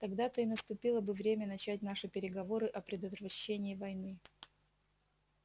тогда-то и наступило бы время начать наши переговоры о предотвращении войны